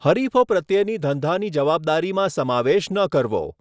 હરિફો પ્રત્યેની ધંધાની જવાબદારીમાં સમાવેશ ન કરવો.